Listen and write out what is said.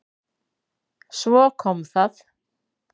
Svo kom það.